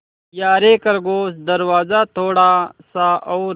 यारे खरगोश दरवाज़ा थोड़ा सा और